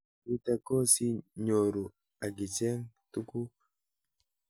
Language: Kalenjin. Nitok ko si nyoruu akicheng' tuguk